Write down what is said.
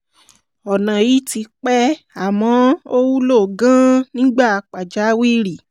ọ̀nà yìí ti pẹ́ àmọ́ ó wúlò gan-an nígbà pàjáwìrì